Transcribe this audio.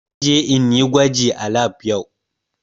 Zan je in yi gwaji a lab yau.